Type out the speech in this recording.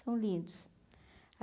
São lindos.